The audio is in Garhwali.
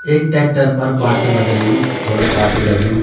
एक ट्रेक्टर पर पार्ट लगैयु थोडा पाटू लग्युं।